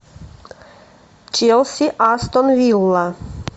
челси астон вилла